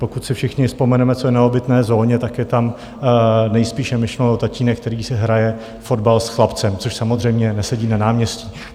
Pokud si všichni vzpomeneme, co je na obytné zóně, tak je tam nejspíše myšlen tatínek, který si hraje fotbal s chlapcem, což samozřejmě nesedí na náměstí.